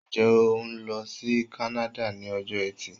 Ǹjẹ́ o ń lọ sí kánáda ni ọjọ eti